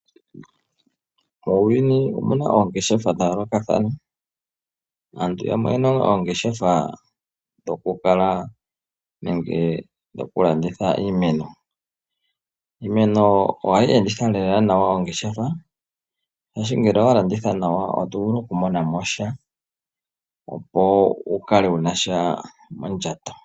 Muuyuni omuna oongeshefa dha yoolokathana. Aantu yamwe oyena oongeshefa dhoku kala nenge dhoku landitha iimeno. Iimeno ohayi enditha lela nawa ongeshefa shaashi ngele owa landitha nawa oto vulu okumona mo sha opo wu kale wuna sha mondjato.